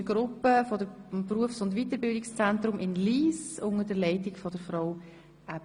Bei uns ist heute eine Gruppe aus dem Berufs- und Weiterbildungszentrum Lyss unter der Leitung von Frau Aebi zu Gast.